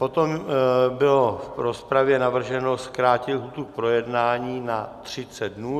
Potom bylo v rozpravě navrženo zkrátit lhůtu k projednání na 30 dnů.